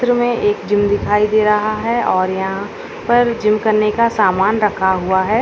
इस चित्र मे एक जिम दिखाई दे रहा है और यहाॅं पर जिम करने का समान रखा हुआ है।